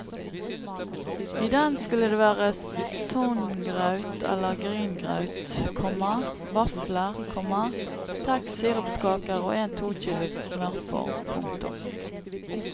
I den skulle det være songraut eller gryngraut, komma vafler, komma seks sirupskaker og en tokilos smørform. punktum